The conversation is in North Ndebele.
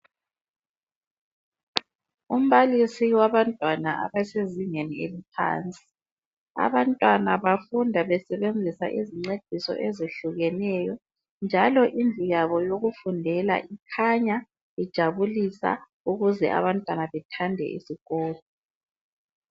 Umbalisi wabantwana abasezingeni eliphansi. Abantwana bafunda besebenzisa izincediso ezihlukeneyo njalo indlu yabo yokufundela ikhanya ijabulisa ukuze abantwana bethande isikolo.